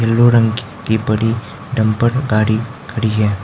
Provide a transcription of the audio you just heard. Blue रंग की टंकी पड़ी डंफर गाड़ी खड़ी है।